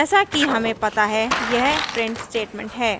जैसा कि हमें पता है यह print statement है